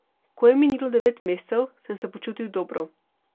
Ko je minilo devet mesecev, sem se počutil dobro.